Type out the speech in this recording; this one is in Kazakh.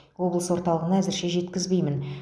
облыс орталығына әзірше жеткізбеймін